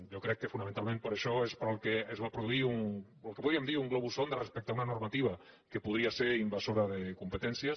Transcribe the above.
jo crec que fonamentalment per això és pel que es va produir el que en podríem dir un globus sonda res·pecte a una normativa que podria ser invasora de com·petències